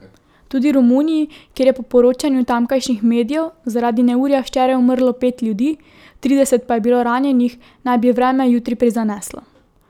Tudi Romuniji, kjer je po poročanju tamkajšnjih medijev zaradi neurja včeraj umrlo pet ljudi, trideset pa je bilo ranjenih, naj bi vreme jutri prizaneslo.